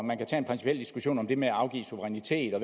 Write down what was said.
man kan tage en principiel diskussion om det med at afgive suverænitet og